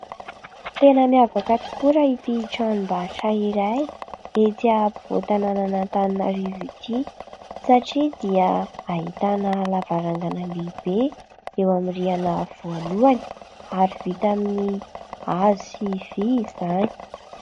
Tena miavaka tokoa raha ity tranombarotra iray etsỳ ampovoan-tanàna an'Antananarivo ity satria dia ahitana lavarangana lehibe eo amin'ny rihana voalohany ary vita amin'ny hazo izany.